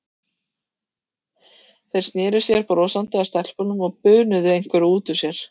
Þeir sneru sér brosandi að stelpunum og bunuðu einhverju út úr sér.